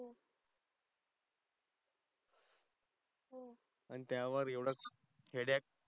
आनी त्या वर एवढ headache